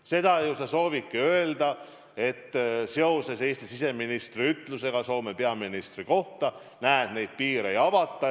Seda sa ju soovidki öelda, et seoses Eesti siseministri ütlusega Soome peaministri kohta piiri ei avata.